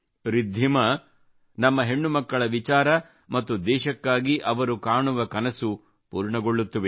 ರಿದ್ಧಿಮಾ ನಮ್ಮ ಹೆಣ್ಣು ಮಕ್ಕಳ ವಿಚಾರ ಮತ್ತು ದೇಶಕ್ಕಾಗಿ ಅವರು ಕಾಣುವ ಕನಸು ಪೂರ್ಣಗೊಳ್ಳುತ್ತವೆ